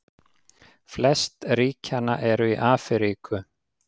Flest ríkjanna eru í Afríku.